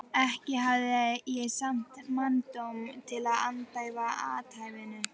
Ekki hafði ég samt manndóm til að andæfa athæfinu.